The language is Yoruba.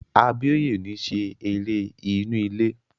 Abíóyè ò ní ṣe eré inú ilé